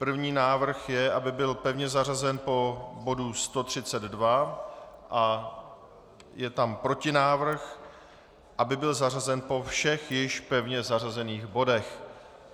První návrh je, aby byl pevně zařazen po bodu 132, a je tam protinávrh, aby byl zařazen po všech již pevně zařazených bodech.